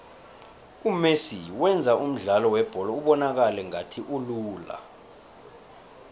umesi wenza umdlalo webholo ubonakale ngathi ulula